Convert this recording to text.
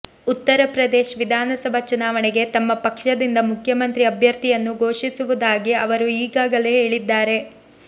ಉತ್ತರ ಪ್ರದೇಶ್ ವಿಧಾನಸಭಾ ಚುನಾವಣೆಗೆ ತಮ್ಮ ಪಕ್ಷದಿಂದ ಮುಖ್ಯಮಂತ್ರಿ ಅಭ್ಯರ್ಥಿಯನ್ನು ಘೋಷಿಸುವುದಾಗಿ ಅವರು ಈಗಾಗಲೇ ಹೇಳಿದ್ದಾರೆ